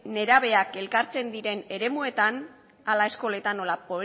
nerabeak elkartzen diren eremuetan hala eskoletan nola